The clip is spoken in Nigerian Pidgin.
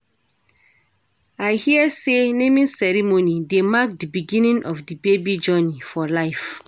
I hear sey naming ceremony dey mark di beginning of di baby journey for life.